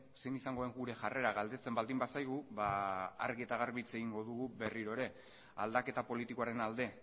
zein izango den gure jarrera galdetzen baldin bazaigu ba argi eta garbi hitz egingo dugu berriro ere aldaketa politikoaren alde